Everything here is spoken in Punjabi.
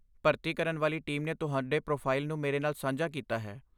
ਭਰਤੀ ਕਰਨ ਵਾਲੀ ਟੀਮ ਨੇ ਤੁਹਾਡੇ ਪ੍ਰੋਫਾਈਲ ਨੂੰ ਮੇਰੇ ਨਾਲ ਸਾਂਝਾ ਕੀਤਾ ਹੈ।